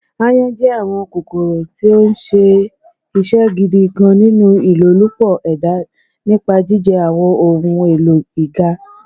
Àyon jẹ awọn kokoro ti o ṣe iṣẹ gidi kan ninu ilolupo eda nipa jijẹ awọn ohun elo iga